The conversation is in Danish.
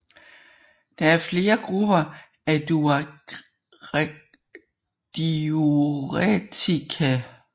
Der er flere grupper af diuretika